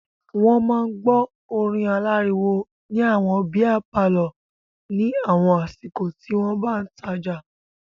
Wọ́n máa ń gbọ́ orin aláriwo ní àwọn bíá palọ̀ ní àwọn àsìkò tí wọ́n bá ń tajà.